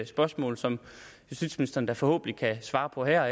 spørgsmål som justitsministeren da forhåbentlig kan svare på her